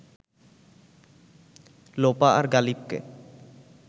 লোপা আর গালিবকে